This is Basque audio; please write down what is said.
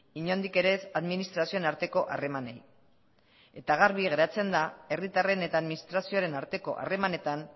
inondik ere ez administrazioen arteko harremanei eta garbi geratzen da herritarren eta administrazioaren arteko harremanetan